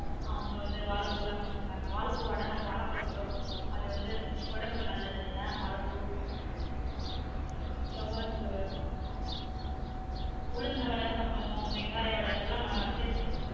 ஆமா வந்து வாழைப்பூ லான் பண்ணுவொம் நாங்க வாழைப்பூ வட வாரத்துல ஒரு தடவ பொட்டுருவொம் அது உடம்புக்கு நல்லது இல்லயா வாழைப்ப துவர்ப்பு உளுந்த வட சாப்டுவொம் வெங்காய வட இது எல்லான் நான் அத்தை